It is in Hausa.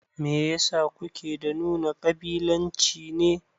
Meyasa kuke da nuna ƙabilanci ne